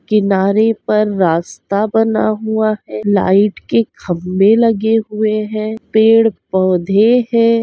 किनारे पर रास्ता बना हुआ है लाइट के खम्भे लगे हुए हैं पेड़-पौधे हैं।